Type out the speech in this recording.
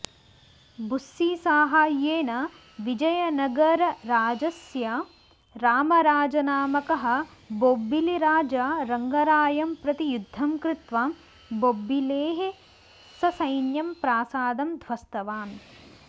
बुस्सीसाहाय्येन विजयनगरराजस्य रामराजनामकः बोब्बिलिराजा रङ्गरायं प्रति युध्दं कृत्वा बोब्बिलेः ससैन्यं प्रासादं ध्वस्तवान्